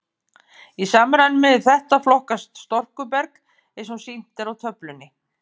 Í samræmi við þetta flokkast storkuberg eins og sýnt er á töflunni.